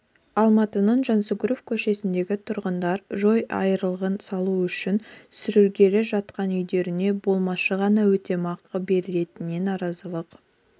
алматының жансүгіров көшесіндегі тұрғындар жол айырығын салу үшін сүрілгелі жатқан үйлеріне болмашы ғана өтемақы берілетініне наразылық